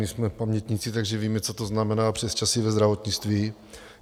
My jsme pamětníci, takže víme, co to znamená přesčasy ve zdravotnictví.